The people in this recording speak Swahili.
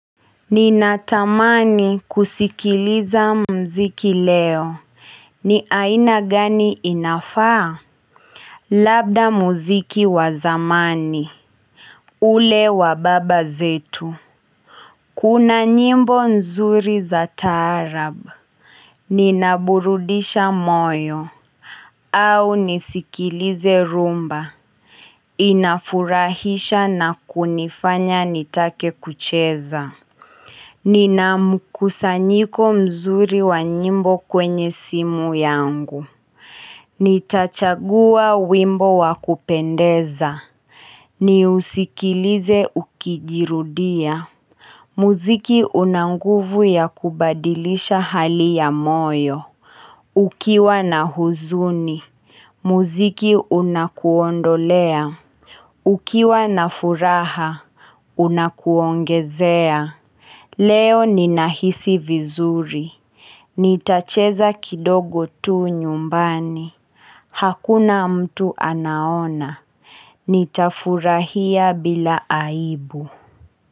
Ninatamani kusikiliza mziki leo. Ni aina gani inafaa? Labda mziki wa zamani. Ule wa baba zetu. Kuna nyimbo nzuri za taarab. Ninaburudisha moyo. Au nisikilize rumba. Inafurahisha na kunifanya nitake kucheza. Nina mkusanyiko mzuri wa nyimbo kwenye simu yangu Nitachachagua wimbo wa kupendeza ni usikilize ukijirudia Muziki unanguvu ya kubadilisha hali ya moyo Ukiwa na huzuni Muziki unakuondolea Ukiwa na furaha Unakuongezea Leo ninahisi vizuri Nitacheza kidogo tu nyumbani Hakuna mtu anaona Nitafurahia bila aibu.